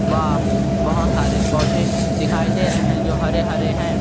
वाह बहुत सारे पौधे दिखाई दे रहे है जो हरे - हरे है |